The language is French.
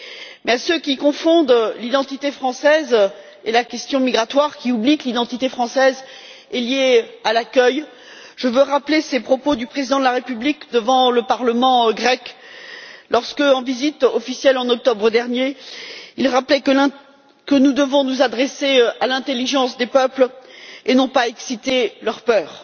Mais à ceux qui confondent l'identité française et la question migratoire, à ceux qui oublient que l'identité française est liée à l'accueil, je veux rappeler les propos du président de la République devant le Parlement grec lorsque, en visite officielle, en octobre dernier, il rappelait que nous devions nous adresser à l'intelligence des peuples et non pas exciter leurs peurs.